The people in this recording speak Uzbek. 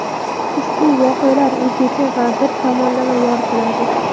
ushbu voqealar "o‘zgacha" va bir tomonlama yoritiladi.